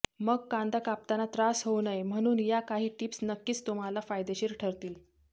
मग कांदा कापताना त्रास होऊ नये म्हणून या काही टीप्स नक्कीच तुम्हांला फायदेशीर ठरतील